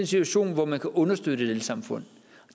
situation hvor man kan understøtte et elsamfund